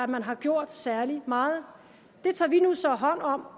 man har gjort særlig meget det tager vi så hånd om